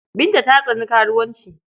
Binta ta tsani karuwanci.